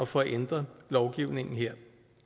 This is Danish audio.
få ændret lovgivningen her